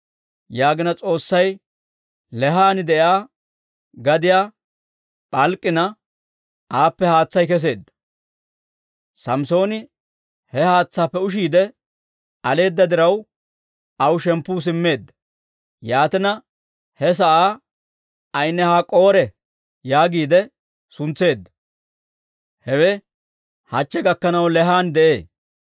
Yaagina S'oossay Leehan de'iyaa gadiyaa p'alk'k'ina, aappe haatsay kesseedda. Samssooni he haatsaappe ushiidde aleeda diraw, aw shemppu simmeedda. Yaatina, he sa'aa Ayni-Hak'k'oore yaagiide suntseedda. Hewe hachche gakkanaw Leehan de'ee.